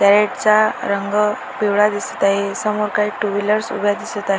side चा रंग पिवळा दिसत आहे समोर काही टू व्हीलर्स उभ्या दिसत आ --